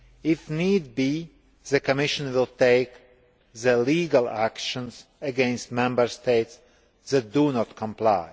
If need be, the Commission will take legal action against Member States that do not comply.